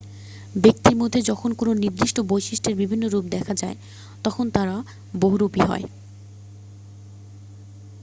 ব্যক্তির মধ্যে যখন কোনও নির্দিষ্ট বৈশিষ্ট্যের বিভিন্ন রূপ দেখা যায় তখন তারা বহুরূপী হয়